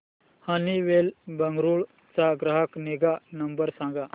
Honeywell Bengaluru चा ग्राहक निगा नंबर सांगा